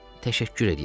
Təşəkkür eləyirəm.